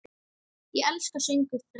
Ég elska sögur þess.